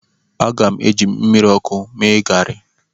Aga m eji mmiri ọkụ mee garị